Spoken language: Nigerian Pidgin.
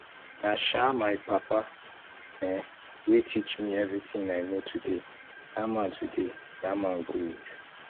na um my papa um wey teach me everything i know today dat man today dat man good